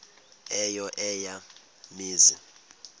eyo eya mizi